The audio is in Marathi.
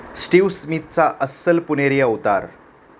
स्टीव्ह स्मिथचा अस्सल पुणेरी अवतार